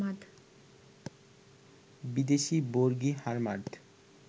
বিদেশি বর্গী, হার্মাদ